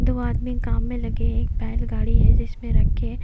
दो आदमी काम में लगे है एक बैल गाड़ी है जिसमें रखे--